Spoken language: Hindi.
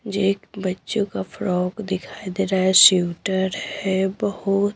जेक बच्चों का फ्रॉग दिखाई दे रहा है श्यूटर है बहुत--